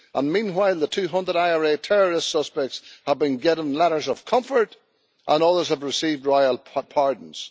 Meanwhile, the 200 IRA terrorist suspects have been getting letters of comfort and others have received royal pardons.